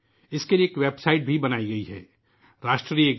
اس کے لئے ایک ویب سائٹ بھی بنائی گئی ہے Rashtragan.in